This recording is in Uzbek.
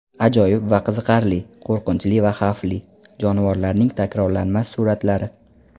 Ajoyib va qiziqarli, qo‘rqinchli va xavfli: jonivorlarning takrorlanmas suratlari.